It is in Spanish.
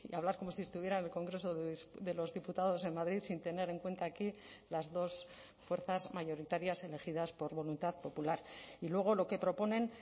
hablar como si estuviera en el congreso de los diputados en madrid sin tener en cuenta aquí las dos fuerzas mayoritarias elegidas por voluntad popular y luego lo que proponen